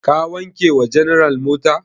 Ka wanke wa general mota?